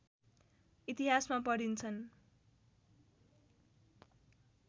इतिहासमा पढिन्छन्